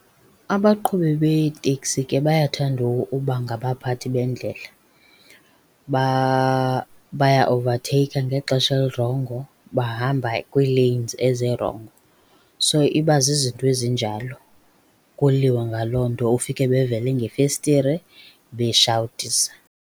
Abaqhubi beeteksi ke bayathanda uba ngabaphathi bendlela. Bayaowuvatheyikha ngexesha elirongo, bahamba kwii-lanes ezirongo. So, iba zizinto ezinjalo, kuliwe ngaloo nto ufike bevele ngefestire beshawutisa.